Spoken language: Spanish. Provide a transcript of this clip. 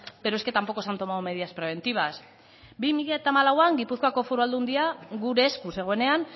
pero es que tampoco se han tomado medidas preventivas bi mila hamalauan gipuzkoako foru aldundia gure esku zegoenean